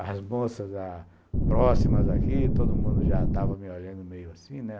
As moças ah próximas aqui, todo mundo já estava me olhando meio assim, né?